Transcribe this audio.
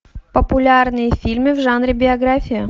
популярные фильмы в жанре биография